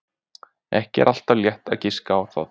Ekki er alltaf létt að giska á það.